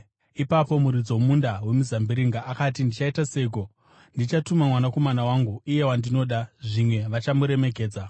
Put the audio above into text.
“Ipapo muridzi womunda wemizambiringa akati, ‘Ndichaita seiko? Ndichatuma mwanakomana wangu, iye wandinoda; zvimwe vachamuremekedza.’